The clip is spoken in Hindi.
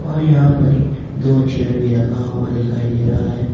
और यहां पर भी दो चेयर भी रखा हुआ दिखाई दे रहा है।